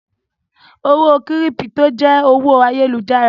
Owó kírípító jẹ́ owó ayélujára.